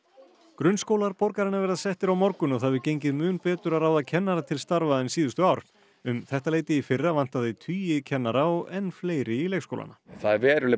grunnskólar borgarinnar verða settir á morgun og það hefur gengið mun betur að ráða kennara til starfa en síðustu ár um þetta leyti í fyrra vantaði tugi kennara og enn fleiri í leikskólana það er veruleg